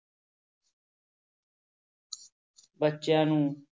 ਬੱਚਿਆਂ ਨੂੰ